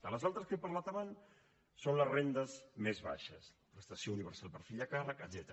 de les altres que he parlat abans són les rendes més baixes prestació universal per fill a càrrec etcètera